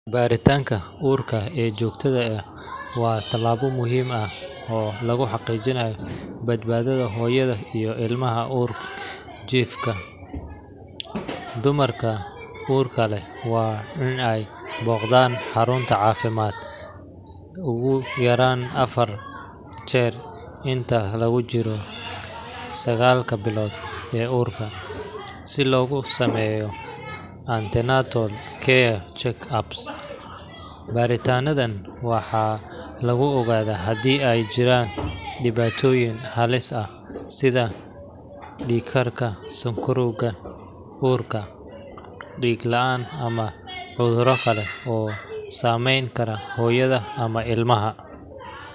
Baaritaanka uurka ee joogtada ah waa tallaabo muhiim ah oo lagu xaqiijiyo badbaadada hooyada iyo ilmaha uurjiifka ah. Dumarka uurka leh waa in ay booqdaan xarunta caafimaadka ugu yaraan afar jeer inta lagu jiro sagaalka bilood ee uurka, si loogu sameeyo antenatal care check-ups. Baaritaannadan waxaa lagu ogaadaa haddii ay jiraan dhibaatooyin halis ah sida dhiig karka, sonkorowga uurka, dhiig la’aan, ama cudurro kale oo saameyn kara hooyada ama ilmaha.